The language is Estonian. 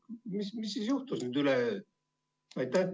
Mis siis nüüd üleöö juhtus?